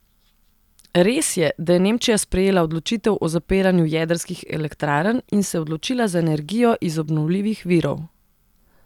Res je, da je Nemčija sprejela odločitev o zapiranju jedrskih elektrarn in se odločila za energijo iz obnovljivih virov.